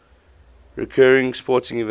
recurring sporting events